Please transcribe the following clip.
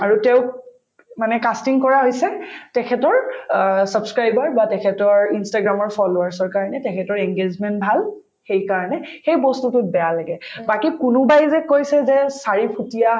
আৰু তেওঁক মানে casting কৰা হৈছে তেখেতৰ অ subscriber বা তেখেতৰ instagram ৰ followers ৰ কাৰণে তেখেতৰ engagement ভাল সেইকাৰণে সেই বস্তুটোত বেয়া লাগে বাকি কোনোবাই যে কৈছে যে চাৰি ফুটীয়া